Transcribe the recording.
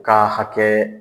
K'a hakɛ